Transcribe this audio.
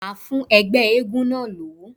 Màá fún ẹgbẹ́ eégún náà lówó.